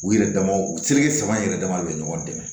U yɛrɛ damaw u seleke saba yɛrɛ dama de bɛ ɲɔgɔn dɛmɛ